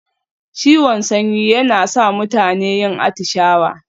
Ciwon sanyi yana sa mutane yin atishawa.